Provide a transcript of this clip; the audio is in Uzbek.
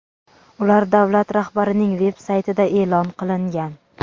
ular davlat rahbarining veb-saytida e’lon qilingan.